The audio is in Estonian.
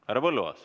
Härra Põlluaas.